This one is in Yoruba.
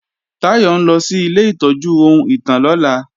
Táyọ̀ ń lọ sí ilé ìtọ́jú ohun ìtàn lọ́la